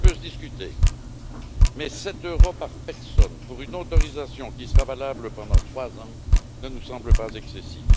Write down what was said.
Cela peut se discuter, mais 7 euros par personne pour une autorisation qui sera valable pendant 3 ans ne nous semble pas excessif.